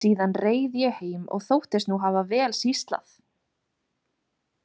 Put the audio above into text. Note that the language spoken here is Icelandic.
Síðan reið ég heim og þóttist nú hafa vel sýslað.